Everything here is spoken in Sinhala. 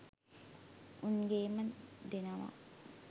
උන් ගේම දෙනවා